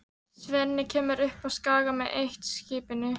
Svenni kemur upp á Skaga með eitt-skipinu.